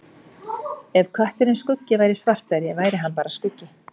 Ef kötturinn Skuggi væri svartari væri hann bara skuggi.